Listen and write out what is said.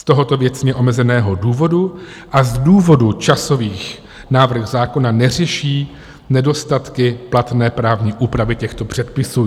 Z tohoto věcně omezeného důvodu a z důvodu časových návrh zákona neřeší nedostatky platné právní úpravy těchto předpisů.